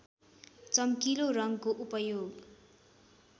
चम्किलो रङ्गको उपयोग